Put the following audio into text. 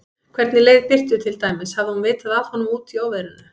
Hvernig leið Birtu til dæmis, hafði hún vitað af honum úti í óveðrinu?